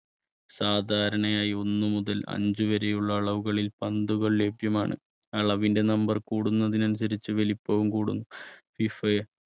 സാധാരണയായി ഒന്ന് മുതൽ അഞ്ച് വരെയുള്ള അളവുകളിൽ പന്തുകൾ ലഭ്യമാണ് അളവിന്റെ നമ്പർ കൂടുന്നതിനനുസരിച്ച് വലിപ്പവും കൂടുന്നു ഫിഫ~